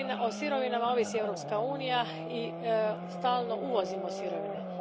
O sirovinama ovisi Europska unija i stalno uvozimo sirovine.